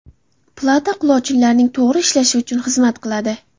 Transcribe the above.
Plata quloqchinlarning to‘g‘ri ishlashi uchun xizmat qiladi.